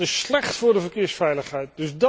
Dat is slecht voor de verkeersveiligheid.